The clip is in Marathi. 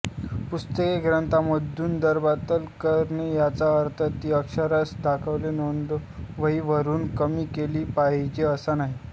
पुस्तके ग्रंथालयामधून रद्दबातल करणे याचा अर्थ ती अक्षरशः दाखल नोंदवहीवरून कमीच केली पाहिजेत असा नाही